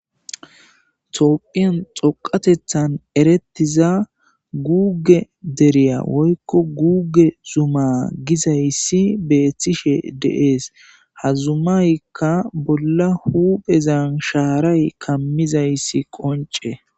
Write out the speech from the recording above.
Tophphiyan dhoqateththan eretiza guge deriya woyikko guge Zuma gizayisa betishe deesi ha zumayikka bola huezan sharay kamizayis qonce